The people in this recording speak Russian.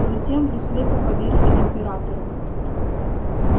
затем вы слепо поверили императору